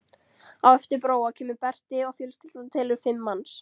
Á eftir Bróa kemur Berti og fjölskyldan telur fimm manns.